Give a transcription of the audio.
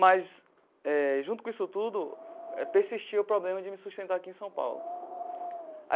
Mas eh, junto com isso tudo, persistia o problema de me sustentar aqui em São Paulo.